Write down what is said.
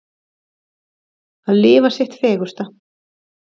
Að lifa sitt fegursta.